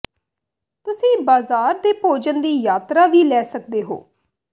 ਤੁਸੀਂ ਬਾਜ਼ਾਰ ਦੇ ਭੋਜਨ ਦੀ ਯਾਤਰਾ ਵੀ ਲੈ ਸਕਦੇ ਹੋ